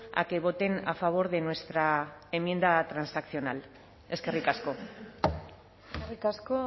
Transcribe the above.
a que voten a favor de nuestra enmienda transaccional eskerrik asko eskerrik asko